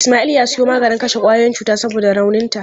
Ismail ya siyo maganin kashe kwayoyin cuta saboda rauninta.